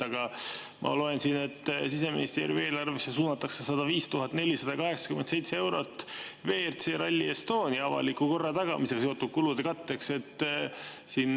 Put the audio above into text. Aga ma loen siit, et Siseministeeriumi eelarvesse suunatakse 105 487 eurot WRC Rally Estonia avaliku korra tagamisega seotud kulude katteks.